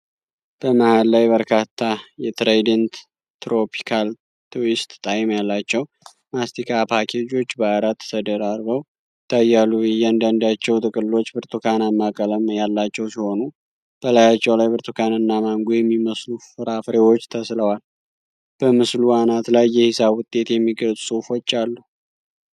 በመሃል ላይ በርካታ የትራይደንት ትሮፒካል ትዊስት ጣዕም ያላቸው ማስቲካ ፓኬጆች በአራት ተደራርበው ይታያሉ። እያንዳንዳቸው ጥቅሎች ብርቱካናማ ቀለም ያላቸው ሲሆኑ በላያቸው ላይ ብርቱካንና ማንጎ የሚመስሉ ፍራፍሬዎች ተስለዋል። በምስሉ አናት ላይ የሂሳብ ውጤት የሚገልጹ ጽሁፎች አሉ።